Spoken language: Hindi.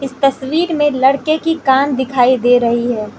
तस्वीर में लड़के की कान दिखाई दे रही है।